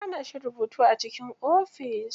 An hana shi rubutu a cikin ofis.